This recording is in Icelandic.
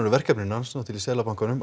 verkefni hans í Seðlabankanum